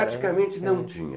Praticamente não tinha.